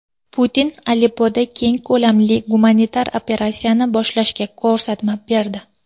Putin Aleppoda keng ko‘lamli gumanitar operatsiyani boshlashga ko‘rsatma berdi.